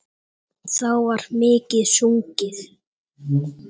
Þá var mikið sungið.